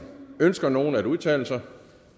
ønsker nogen at udtale sig